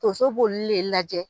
Tonso b'oli lajɛ.